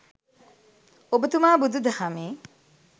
ඔබතුමා බුදු දහමේ